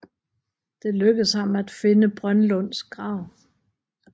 Det lykkedes ham at finde Brønlunds grav